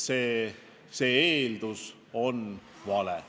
See eeldus on vale.